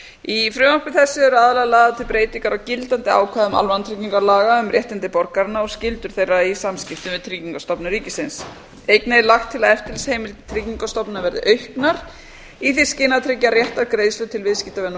í frumvarpi þessu eru aðallega lagðar til breytingar á gildandi ákvæðum almannatryggingalaga um réttindi borgaranna og skyldur þeirra í samskiptum við tryggingastofnun ríkisins einnig er lagt til að eftirlitsheimildir tryggingastofnunar verði auknar í því skyni að tryggja réttar greiðslur til viðskiptavina